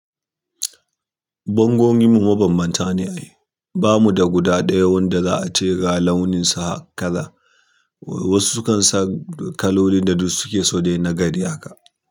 Bongon mu mabambanta ne a yi. Ba mu da guda ɗaya wanda za a ce ga launinsa kaza. Wasu sukan sa kaloli da duk suke so dai na gari haka.